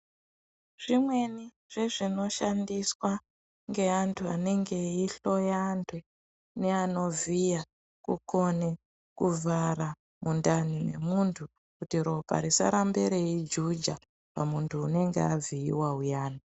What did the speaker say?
Zvimweni zvezvinoshnadiswa nge andu anenge eyihloya andu neano vhiya kukone kuvhara mundani mwemundu kuti ropa risarambe reyijuja pamundu unenge avhiyiwa uyani.